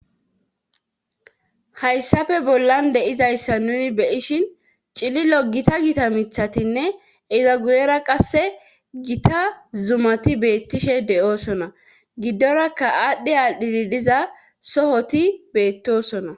hayssafe bollan deizayssa nuni beyishin cililo gita gita mithatinne eza guyera qasse gita zumati beettishe de7oosona giddorakka aadhdhe aaldhidi diza sohoti beettosona